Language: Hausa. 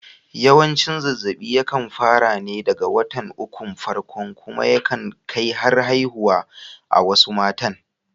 Yawanci zazzaɓi ya kan fara wa ne daga watan ukun farko kuma ya kan kai har haihuwa a wasu matan